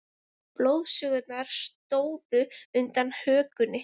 Blóðgusurnar stóðu undan hökunni.